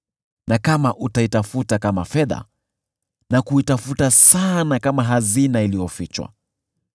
na kama utaitafuta kama fedha na kuitafuta sana kama hazina iliyofichwa,